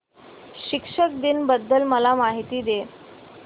शिक्षक दिन बद्दल मला माहिती दे